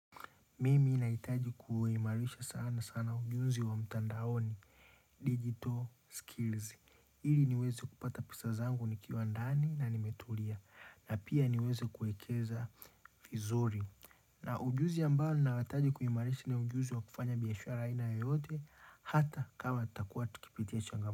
Mimi nahitaji kuimarisha sana sana ujuzi wa mtandaoni Digital skills ili niweze kupata pesa zangu nikiwa ndani na nimetulia. Na pia niweze kuekeza vizuri na ujuzi ambao ninahitaji kuimarisha ni ujuzi wa kufanya biashara aina yoyote Hata kama tutakuwa tukipitia changamoto.